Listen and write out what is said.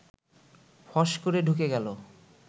ফস করে ঢুকে গেল